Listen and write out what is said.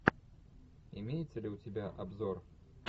имеется ли у тебя обзор